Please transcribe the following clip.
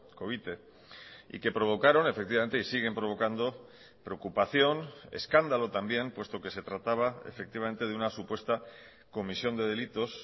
covite y que provocaron efectivamente y siguen provocando preocupación escándalo también puesto que se trataba efectivamente de una supuesta comisión de delitos